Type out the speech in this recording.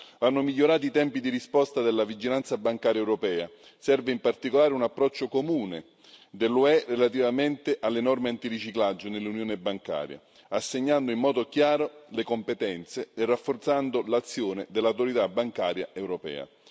Vanno migliorati i tempi di risposta della vigilanza bancaria europea, serve in particolare un approccio comune dell'UE relativamente alle norme antiriciclaggio nell'Unione bancaria, assegnando in modo chiaro le competenze e rafforzando l'azione dell'Autorità bancaria europea.